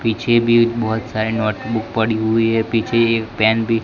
पीछे भी बहोत सारे नोट बुक पड़ी हुई है पीछे एक पेन भी--